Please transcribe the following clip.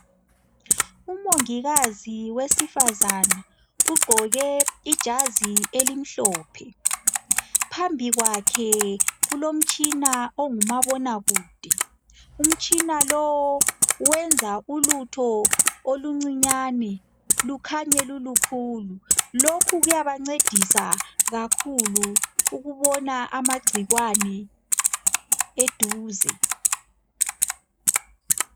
Umongikazi wesifazana ugqoke ijazi elimhlophe, phambi kwakhe kulomtshina ongumabona kude, umtshina lo wenza ulutho oluncinyane lukhanye lulukhulu, lokhu kuyabancedisa kakhulu ukubona amagcikwane eduze.